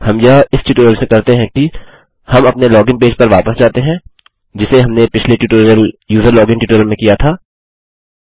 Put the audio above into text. हम यह इस प्रकार से करते हैं कि हम अपने लोगिन पेज पर वापस जाते हैं जिसे हमने पिछले ट्यूटोरियल यूजरलॉजिन ट्यूटोरियल में किया था